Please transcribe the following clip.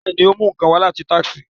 Bẹẹni, o mú nkán wá lati Texas